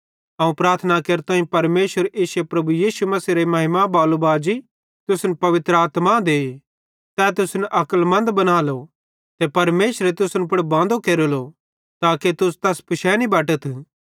अवं प्रार्थना केरताईं कि परमेशर इश्शे प्रभु यीशु मसीहेरे महिमा बाले बाजी तुसन पवित्र आत्मा दे तै तुसन अक्लमन्द बनालो ते परमेशरे तुसन पुड़ बांदो केरेलो ताके तुस तैस पिशैनी बटथ